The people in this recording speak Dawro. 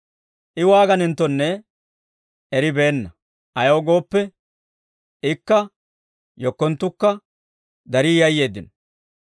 I waaganenttonne eribeenna; ayaw gooppe, ikka yekkonttukka darii yayyeeddino.